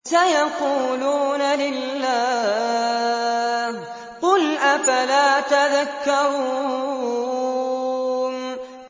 سَيَقُولُونَ لِلَّهِ ۚ قُلْ أَفَلَا تَذَكَّرُونَ